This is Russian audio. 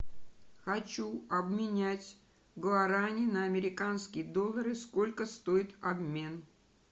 хочу обменять гуарани на американские доллары сколько стоит обмен